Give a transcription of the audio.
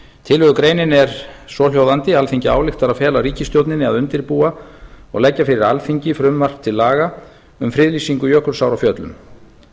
tillögugreinin er svohljóðandi alþingi ályktar að fela ríkisstjórninni að undirbúa og leggja fyrir alþingi frumvarp til laga um friðlýsingu jökulsár á fjöllum